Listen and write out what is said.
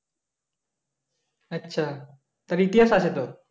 আচ্ছা তার ইতিহাস আছে তো?